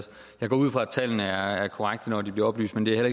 jeg går ud fra at tallene er korrekte når de bliver oplyst men det er